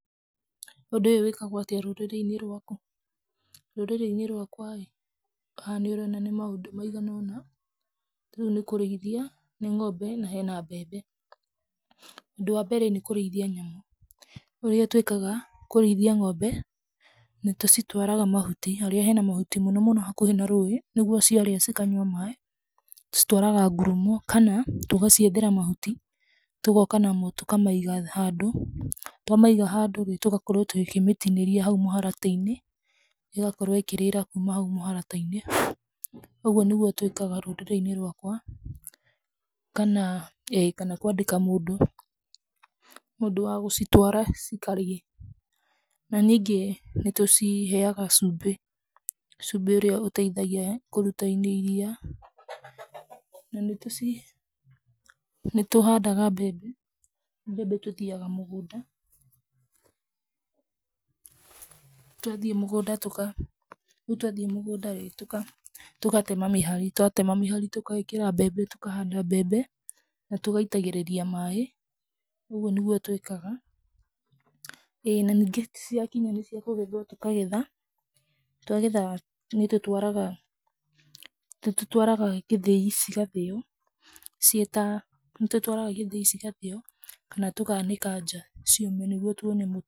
Ũndũ ũyũ wĩkagwo atĩa rũrĩrĩ-inĩ rwaku? Rũrĩrĩ-inĩ rwakwa ĩ, haha nĩ ũrona nĩ maũndũ maigana ũna, ta rĩu nĩ kũrĩithia ng'ombe na hena mbembe. Ũndũ wambere nĩ kũrĩithia nyamũ, ũrĩa tũĩkaga kũrĩithia ng'ombe, nĩ tũcitwaraga mahuti, harĩa hena mahuti mũno mũno hakuhĩ na rũĩ nĩguo ciarĩa cikanyua maĩ. Tũcitwaraga ngurumo kana tũgaciethera mahuti tũgoka namo tũkamaiga handũ, twamaiga handũ rĩ, tũgakorwo tũkĩmĩtinĩria hau mũharatĩ-inĩ, ĩgakorwo ĩkĩrĩra kuma hau mũharatĩ-inĩ, ũguo nĩguo twĩkaga rũrĩrĩ-inĩ rwakwa. ĩĩ, kana kũandĩka mũndũ wa gũcitwara cikarĩe. Na ningĩ nĩ tũciheaga cumbĩ, cumbĩ ũrĩa ũteithagia kũruta iria. Na nĩ tũhandaga mbembe, mbembe tũthiaga mũgũnda, twathiĩ mũgũnda tũka, rĩu twathiĩ rĩ, mũgũnda tũgatema mĩhari. Twatema mĩhari tũgekĩra mbembe, tũkahanda mbembe na tũgaitagĩrĩria maĩ, ũguo nĩguo twĩkaga. ĩĩ na ningĩ ciakinya nĩ ciakũgethwo tũkagetha, twagetha nĩtũtwaraga gĩthĩi cigathĩo ciĩ ta, nĩ tũtwaraga gĩthĩi cigathĩo kana tũka anĩka nja ciũme nĩguo tuone mũtu.